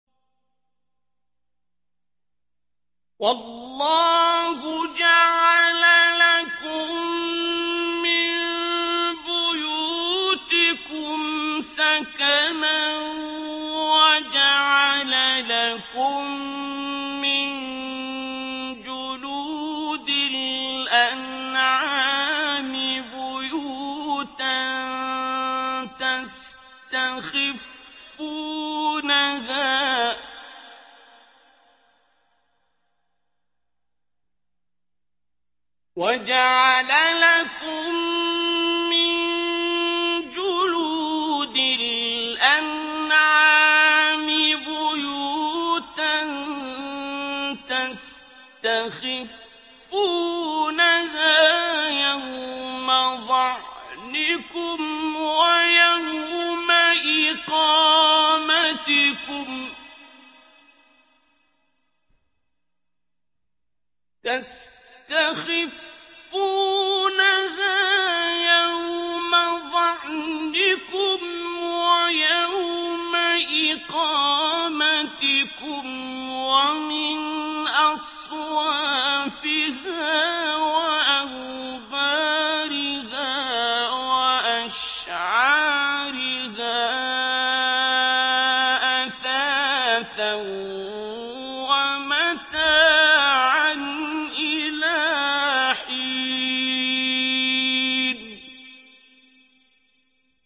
وَاللَّهُ جَعَلَ لَكُم مِّن بُيُوتِكُمْ سَكَنًا وَجَعَلَ لَكُم مِّن جُلُودِ الْأَنْعَامِ بُيُوتًا تَسْتَخِفُّونَهَا يَوْمَ ظَعْنِكُمْ وَيَوْمَ إِقَامَتِكُمْ ۙ وَمِنْ أَصْوَافِهَا وَأَوْبَارِهَا وَأَشْعَارِهَا أَثَاثًا وَمَتَاعًا إِلَىٰ حِينٍ